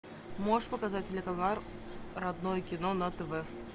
можешь показать телеканал родное кино на тв